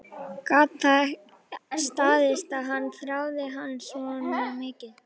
Gat það staðist að hann þráði hana svona mikið?